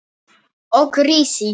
Og risi!